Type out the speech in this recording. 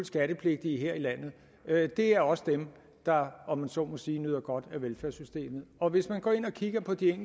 skattepligtige her i landet det er også dem der om man så må sige nyder godt af velfærdssystemet hvis man går ind og kigger på de